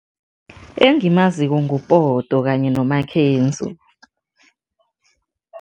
Engimaziko nguPoto kanye noMakhenzo.